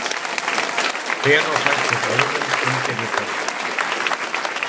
Hver á fætur öðrum undirritaði.